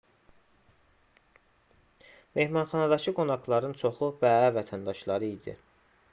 mehmanxanadakı qonaqların çoxu bəə vətəndaşları idi